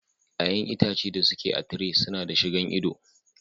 Ƴaƴan itace da su ke a tire su na da shi gan ido.